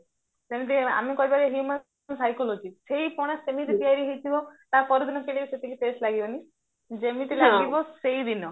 ଯେମତି ଆମେ କହିବାକି human psychology ସେଇ ପଣା ସେମିତି ତିଆରି ହେଇଥିବ ତାପରା ଦିନ ସେଇଟାବି ସେତିକି test ଲାଗିବାନି ଯେମିତ ଲାଗିବ ସେଇଦିନ